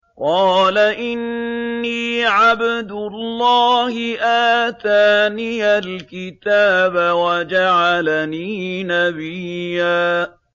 قَالَ إِنِّي عَبْدُ اللَّهِ آتَانِيَ الْكِتَابَ وَجَعَلَنِي نَبِيًّا